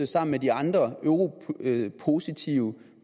sammen med de andre europositive